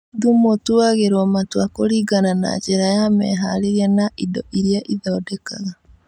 Thumu ũtuagĩrwo matua kũringana na njĩra ya meharĩrĩria na indo iria ĩthondekaga